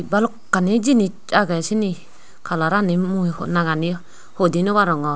balokkani jinis agey sini kalarani mui nangani hoi di naw arongor.